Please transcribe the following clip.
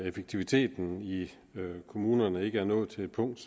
effektiviteten i kommunerne ikke er nået til et punkt